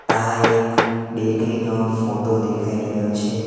આ એક બેકરી નો ફોટો દેખાઈ રહ્યો છે.